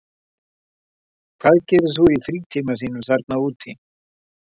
Hvað gerir þú í frítíma þínum þarna úti?